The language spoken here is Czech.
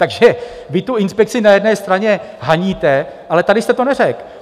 Takže vy tu inspekci na jedné straně haníte, ale tady jste to neřekl.